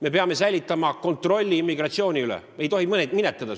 Me peame säilitama kontrolli immigratsiooni üle, seda ei tohi minetada.